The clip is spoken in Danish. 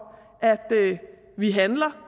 at vi handler